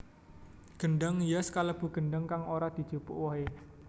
Gedhang hias kalêbu gêdhang kang ora dijupuk wohe